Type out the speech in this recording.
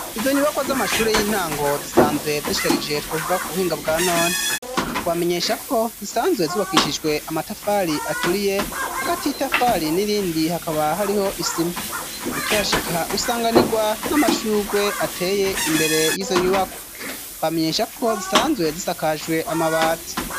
Izo nyubakwa z'amashuri y'intango zisanzwe ziishtarije twavuga ku buhinga bwa none twamenyesha ko zisanzwe zibakishijwe amatafari aturiye hagati itafari n'irindi hakaba hariho isima ukihashika usanganirwa n'amashugwe ateye imbere y'izo nyubakwa twamenyesha ko zisanzwe zisakajwe amabati.